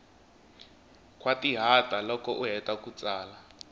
khwatihata loko u heta ku tsala